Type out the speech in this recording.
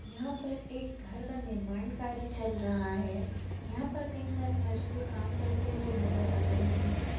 यहाँ पर एक घर का निर्माण कार्य चल रहा है यहाँ पर कई सारे मजदूर काम करते हुए नज़र आ रहे हैं।